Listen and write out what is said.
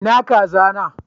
Ina kaza na?